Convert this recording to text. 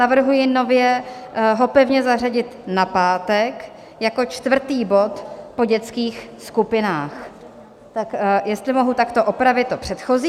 Navrhuji nově ho pevně zařadit na pátek jako čtvrtý bod po dětských skupinách, tak jestli mohu takto opravit to předchozí.